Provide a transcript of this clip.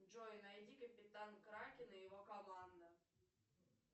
джой найди капитан кракен и его команда